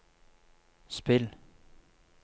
spill